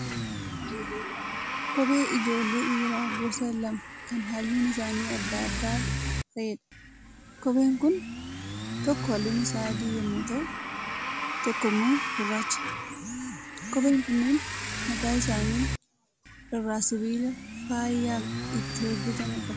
Kophee ijoollee dhiiraa gosa lama kan halluun isaanii addaa adda ta'eedha. Kopheen kun tokko halluun isaa adii yemmuu ta'u tokko immoo gurraacha. Kopheen kunneen mataa isaanii irraa sibiila faayyaaf itti hojjetame qabu.